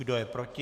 Kdo je proti?